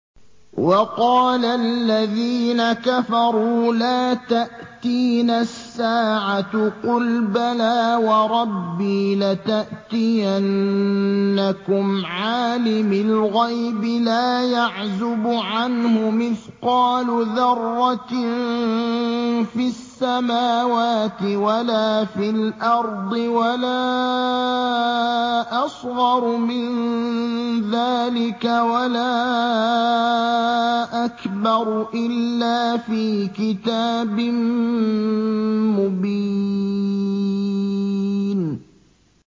وَقَالَ الَّذِينَ كَفَرُوا لَا تَأْتِينَا السَّاعَةُ ۖ قُلْ بَلَىٰ وَرَبِّي لَتَأْتِيَنَّكُمْ عَالِمِ الْغَيْبِ ۖ لَا يَعْزُبُ عَنْهُ مِثْقَالُ ذَرَّةٍ فِي السَّمَاوَاتِ وَلَا فِي الْأَرْضِ وَلَا أَصْغَرُ مِن ذَٰلِكَ وَلَا أَكْبَرُ إِلَّا فِي كِتَابٍ مُّبِينٍ